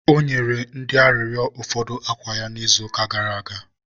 ọ nyere ndị arịrịọ ụfọdụ akwa ya n' izuụka gara aga